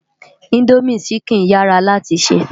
Indómi ṣìkín yárá láti sè